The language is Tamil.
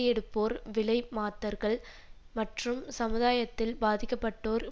எடுப்போர் விலை மாத்தர்கள் மற்றும் சமுதாயத்தில் பாதிக்க பட்டோர்